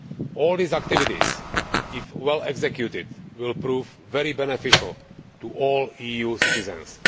All these activities, if well executed, will prove very beneficial to all EU citizens.